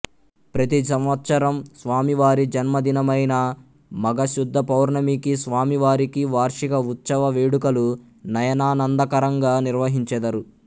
ప్రతి సంవత్సరం స్వామివారి జన్మదినమైన మాఘశుద్ధపౌర్ణమికి స్వామివారికి వార్షిక ఉత్సవ వేడుకలు నయనానందకరంగా నిర్వహించెదరు